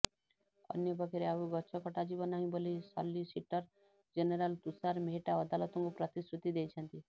ଅନ୍ୟ ପକ୍ଷରେ ଆଉ ଗଛ କଟାଯିବ ନାହିଁ ବୋଲି ସଲିସିଟର ଜେନେରାଲ ତୁଷାର ମେହେଟ୍ଟା ଅଦାଲତଙ୍କୁ ପ୍ରତିଶ୍ରୃତି ଦେଇଛନ୍ତି